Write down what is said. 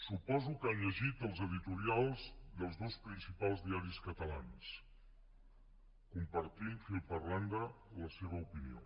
suposo que ha llegit els editorials dels dos principals diaris catalans compartim fil per randa la seva opinió